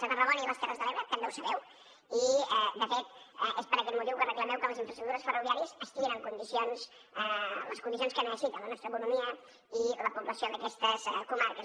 a tarragona i les terres de l’ebre també ho sabeu i de fet és per aquest motiu que reclameu que les infraestructures ferroviàries estiguin en condicions en les condicions que necessita la nostra economia i la població d’aquestes comarques